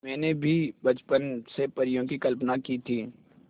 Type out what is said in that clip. मैंने भी बचपन से परियों की कल्पना की थी